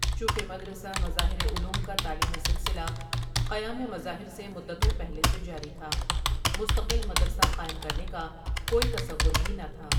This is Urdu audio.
چونکہ مدرسہ مظاہرعلوم کا تعلیمی سلسلہ قیام مظاہرسے مدتوں پہلے سے جاری تھا مستقل مدرسہ قائم کرنے کا کوئی تصور بھی نہ تھا ۔